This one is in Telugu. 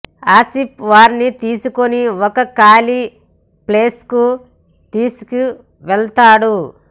ఆసిఫ్ వారిని తీసుకుని ఒక ఖాళీ ప్లేస్ కు తీసుకు వెళ్తాడు